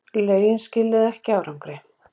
Lögin skiluðu ekki árangri